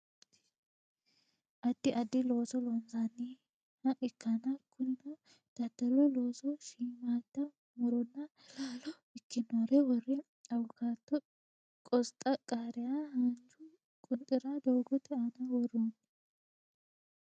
Addi addi looso loonsanniha ikkanna kunino daddalu looso shiimmaadda muronna laalo ikkinore worre awukaato qosxa qaariya haanju qunxira doogote aana worroonni